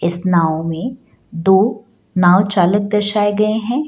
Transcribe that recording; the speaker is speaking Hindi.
इस नाव में दो नाव चालक दर्शाए गए हैं।